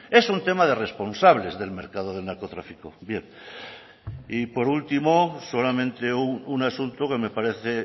es un tema de responsables del mercado del narcotráfico bien y por último solamente un asunto que me parece